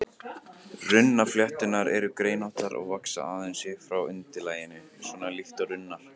Runnaflétturnar eru greinóttar og vaxa aðeins upp frá undirlaginu, svona líkt og runnar.